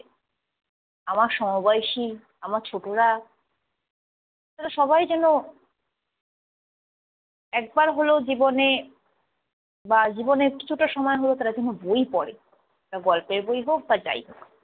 আমার সমবয়সী, আমার ছোটরা এরা সবাই যেন একবার হলেও জীবনে বা জীবনের কিছুটা সময় হলেও যেন তারা বই পড়ে। সেটা গল্পের বই হোক বা যাই হোক।